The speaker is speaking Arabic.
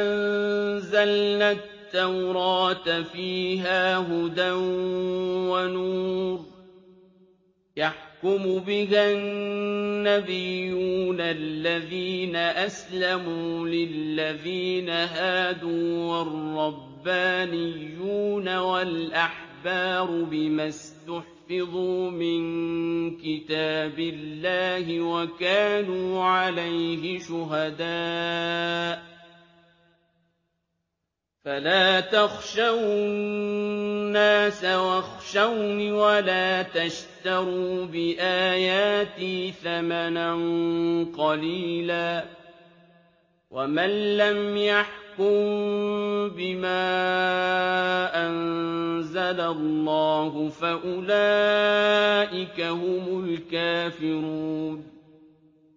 أَنزَلْنَا التَّوْرَاةَ فِيهَا هُدًى وَنُورٌ ۚ يَحْكُمُ بِهَا النَّبِيُّونَ الَّذِينَ أَسْلَمُوا لِلَّذِينَ هَادُوا وَالرَّبَّانِيُّونَ وَالْأَحْبَارُ بِمَا اسْتُحْفِظُوا مِن كِتَابِ اللَّهِ وَكَانُوا عَلَيْهِ شُهَدَاءَ ۚ فَلَا تَخْشَوُا النَّاسَ وَاخْشَوْنِ وَلَا تَشْتَرُوا بِآيَاتِي ثَمَنًا قَلِيلًا ۚ وَمَن لَّمْ يَحْكُم بِمَا أَنزَلَ اللَّهُ فَأُولَٰئِكَ هُمُ الْكَافِرُونَ